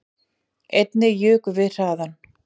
Einnig jukum við hraðann